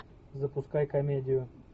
запускай комедию